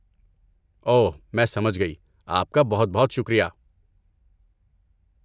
اوہ، میں سمجھ گئی۔ آپ کا بہت بہت شکریہ۔